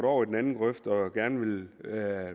over i den anden grøft og gerne vil